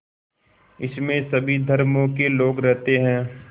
इसमें सभी धर्मों के लोग रहते हैं